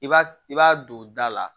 I b'a i b'a don da la